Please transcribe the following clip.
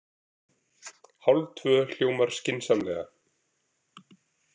Hálftvö hljómar skynsamlega.